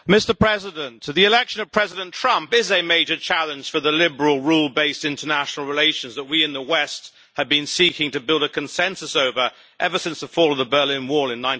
Mr President, the election of President Trump is a major challenge for the liberal, rule-based international relations over which we in the west have been seeking to build a consensus ever since the fall of the Berlin Wall in